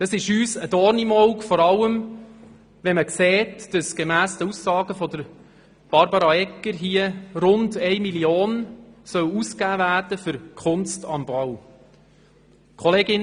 Das ist uns ein Dorn im Auge, vor allem wenn man sieht, dass gemäss den Aussagen von Regierungsrätin Egger rund 1 Mio. Franken für Kunst am Bau ausgegeben werden soll.